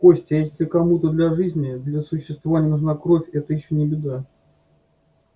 костя если кому-то для жизни для существования нужна кровь это ещё не беда